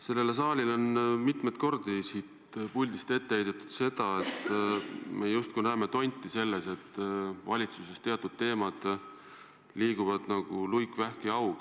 Sellele saalile on mitmeid kordi siit puldist ette heidetud, et me justkui näeme tonti selles, et valitsuses teatud teemad liiguvad nagu luik, vähk ja haug.